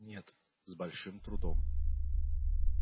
нет с большим трудом